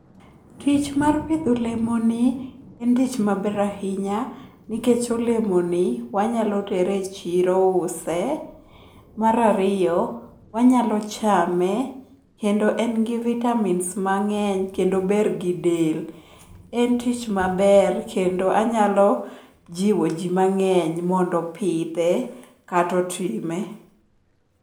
Tich mar pidho olemoni en tich maber ahinya nikech olemoni wanyalo tere e chiro use. Mar ariyo, wanyalo chame kendo en gi vitamins mang'eny kendo ber gi del. En tich maber kendo anyalo jiwo ji mang'eny mondo opidhe kata otime.